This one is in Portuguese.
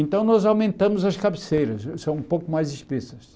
Então, nós aumentamos as cabeceiras, são um pouco mais espessas.